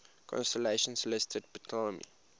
constellations listed by ptolemy